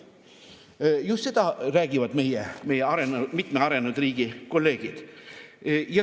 Just seda räägivad mitme arenenud riigi kolleegid.